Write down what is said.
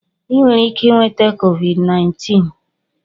Ị nwere ike nweta Covid19